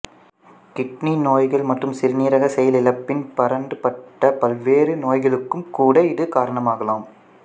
kidney நோய்கள் மற்றும் சிறுநீரக செயலிழப்பின் பரந்துபட்ட பல்வேறு நோய்களுக்கும் கூட இது காரணமாகலாம்